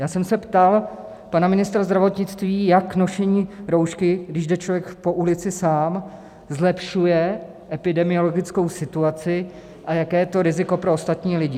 Já jsem se ptal pana ministra zdravotnictví, jak nošení roušky, když jde člověk po ulici sám, zlepšuje epidemiologickou situaci a jaké je to riziko pro ostatní lidi.